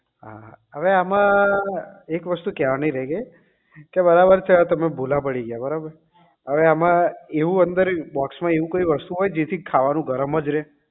હા હા હવે આમાં એક વસ્તુ કહેવાની રહી ગયી કે બરાબર છે તમે ભૂલા પડી ગયા બરાબર અવે આમાં એવું અંદર box માં એવું કઈ વસ્તુ હોય જેથી ખાવાનું ગરમ જ રહે